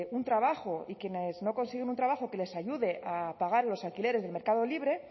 un trabajo y quienes no consiguen un trabajo que les ayude a pagar los alquileres del mercado libre